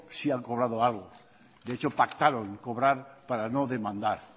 sí han cobrado algo de hecho pactaron cobrar para no demandar